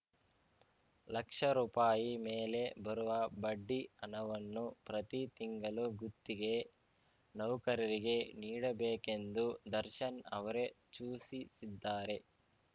ಲಕ್ಷ ರುಪಾಯಿ ಮೇಲೆ ಬರುವ ಬಡ್ಡಿ ಹಣವನ್ನು ಪ್ರತಿ ತಿಂಗಲು ಗುತ್ತಿಗೆ ನೌಕರರಿಗೆ ನೀಡಬೇಕೆಂದು ದರ್ಶನ್‌ ಅವರೇ ಚೂಸಿಸಿದ್ದಾರೆ